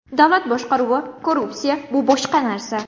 Davlat boshqaruvi, korrupsiya bu boshqa narsa.